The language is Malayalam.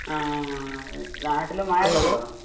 ആ ഏഹ് നാട്ടില് മഴേക്കൊണ്ടോ?